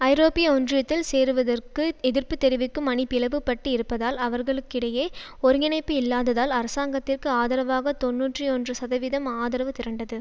ஐரோப்பிய ஒன்றியத்தில் சேருவதற்கு எதிர்ப்பு தெரிவிக்கும் அணி பிளவுபட்டு இருப்பதால் அவர்களுக்கிடையே ஒருங்கிணைப்பு இல்லாததால் அரசாங்கத்திற்கு ஆதரவாக தொன்னூற்றி ஒன்று சதவீதம் ஆதரவு திரண்டது